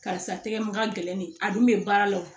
Karisa tɛgɛ ma ka gɛlɛn nin a dun bɛ baara la wo